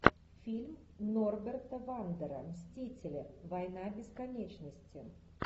фильм норберта вандера мстители война бесконечности